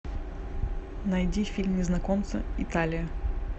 найди фильм незнакомцы италия